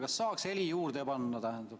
Kas saaks heli juurde panna?